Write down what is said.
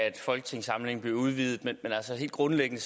at folketingssamlingen bliver udvidet men helt grundlæggende